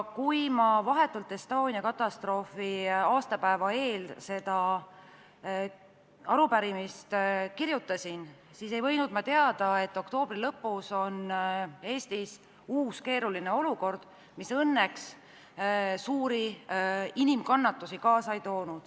Kui ma vahetult Estonia katastroofi aastapäeva eel seda arupärimist kirjutasin, siis ei võinud ma teada, et oktoobri lõpus on Eestis uus keeruline olukord, mis õnneks suuri inimkannatusi kaasa ei toonud.